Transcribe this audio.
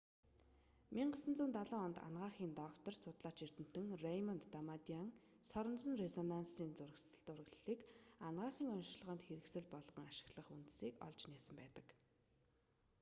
1970 онд анагаахын доктор судлаач эрдэмтэн рэймонд дамадиан соронзон резонансын зураглалыг анагаахын оношилгоонд хэрэгсэл болгон ашиглах үндсийг олж нээсэн байдаг